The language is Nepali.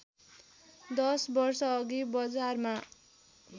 दश वर्षअघि बजारमा